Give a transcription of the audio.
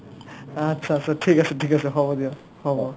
achcha achcha ঠিক আছে ঠিক আছে হ'ব দিয়ক হ'ব ।